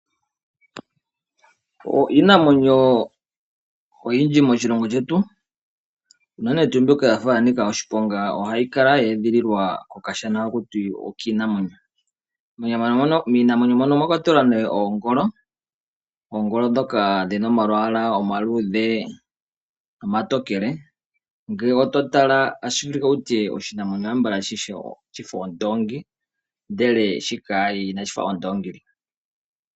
Iinamwenyo oyindji moshilongo shetu unene tuu mbyoka ya fa ya nika oshiponga ohayi kala ye edhililwa mokashana kiinamwenyo. Miinamwenyo mbika omwa kwatelwa oongolo, oongolo ndhoka dhi na omalwaala omaludhe nomatokele. Ngele oto tala otashi vulika wu tye okonyala sha fa ondoongi, ihe shika inashi fa ondoongi.